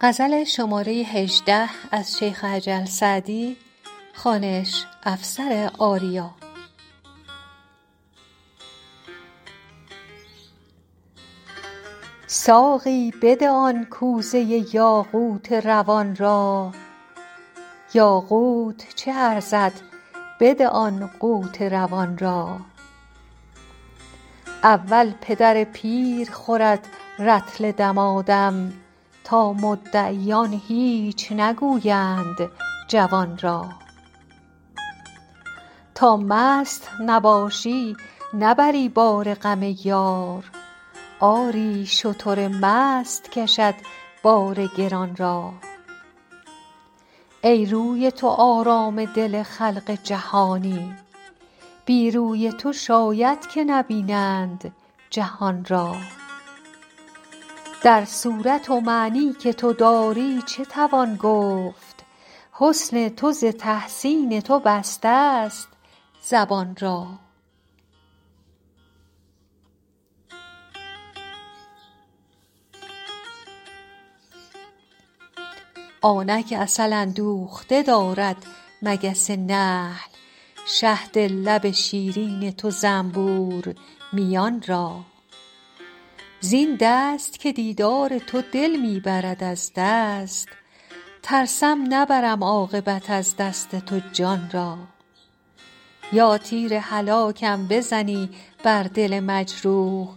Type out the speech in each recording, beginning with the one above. ساقی بده آن کوزه یاقوت روان را یاقوت چه ارزد بده آن قوت روان را اول پدر پیر خورد رطل دمادم تا مدعیان هیچ نگویند جوان را تا مست نباشی نبری بار غم یار آری شتر مست کشد بار گران را ای روی تو آرام دل خلق جهانی بی روی تو شاید که نبینند جهان را در صورت و معنی که تو داری چه توان گفت حسن تو ز تحسین تو بستست زبان را آنک عسل اندوخته دارد مگس نحل شهد لب شیرین تو زنبور میان را زین دست که دیدار تو دل می برد از دست ترسم نبرم عاقبت از دست تو جان را یا تیر هلاکم بزنی بر دل مجروح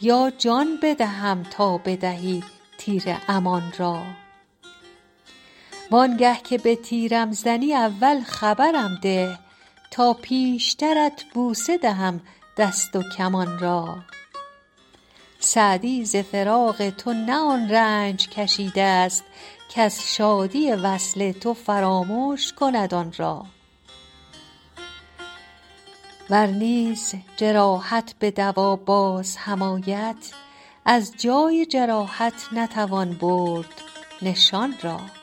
یا جان بدهم تا بدهی تیر امان را وان گه که به تیرم زنی اول خبرم ده تا پیشترت بوسه دهم دست و کمان را سعدی ز فراق تو نه آن رنج کشیدست کز شادی وصل تو فرامش کند آن را ور نیز جراحت به دوا باز هم آید از جای جراحت نتوان برد نشان را